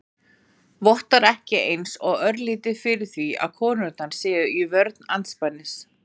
Vottar ekki eins og örlítið fyrir því að konurnar séu í vörn andspænis